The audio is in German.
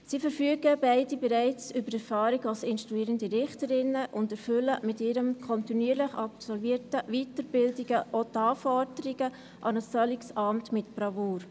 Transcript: Sie verfügen beide bereits über Erfahrungen als instruierende Richterinnen und erfüllen mit ihren kontinuierlich absolvierten Weiterbildungen auch die Anforderungen an ein solches Amt mit Bravour.